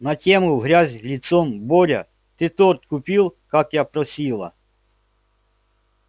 на тему в грязь лицом боря ты торт купил как я просила